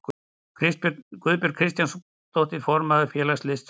Guðbjörg Kristjánsdóttir, formaður félags listfræðinga.